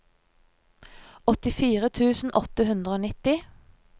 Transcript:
åttifire tusen åtte hundre og nitti